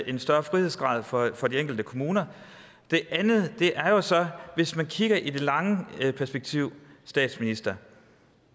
en større frihedsgrad for for de enkelte kommuner det andet er så hvis man kiggede i det lange perspektiv statsminister